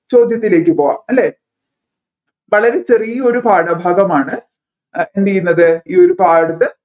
ചോദ്യത്തിലേക്ക് പോവാം അല്ലെ വളരെ ചെറിയ ഒരു പാഠഭാഗമാണ് എന്തുചെയ്യുന്നത് ഈ പാഠത്തിൽ